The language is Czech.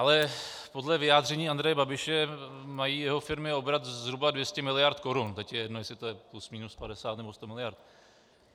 Ale podle vyjádření Andreje Babiše mají jeho firmy obrat zhruba 200 miliard korun, teď je jedno, jestli je to plus minus 50 nebo 100 miliard.